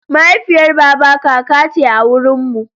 Mahaifiyar baba kaka ce a wurinmu.